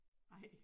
Ej